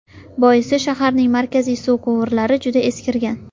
Boisi, shaharning markaziy suv quvurlari juda eskirgan.